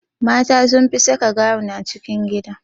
Mata sun fi saka gawun a cikin gida